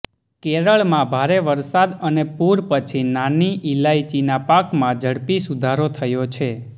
કેરળમાં ભારે વરસાદ અને પૂર પછી નાની ઇલાયચીના પાકમાં ઝડપી સુધારો થયો છે